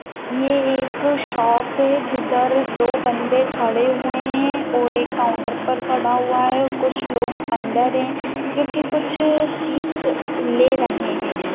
ये एक शॉप है जिधर दो बंदे खड़े हुवे है और एक काउन्टर पर खड़ा हुवा है कुछ लोग अंदर है जो की कुछ चीज के ले रहे है।